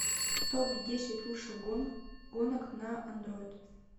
топ десять лучших гонок на андроид